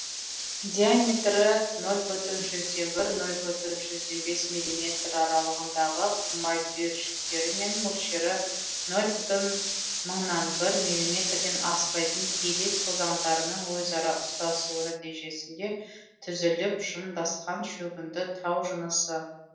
диаметрі нөл бүтін жүзден бір нөл бүтін жүзден бес миллиметр аралығындағы құмайт үйіршіктері мен мөлшері нөл бүтін мыңнан бір миллиметрден аспайтын пелит тозаңдарының өзара ұстасуы нәтижесінде түзіліп жымдасқан шөгінді тау жынысы